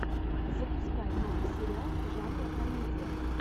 запускай новый сериал жанра комедия